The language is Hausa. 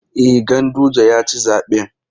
E, Ganguje ya ci zaɓen.